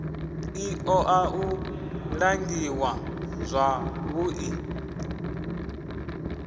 i oa u langiwa zwavhui